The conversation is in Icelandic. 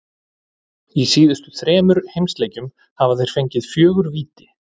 Í síðustu þremur heimaleikjum hafa þeir fengið fjögur víti.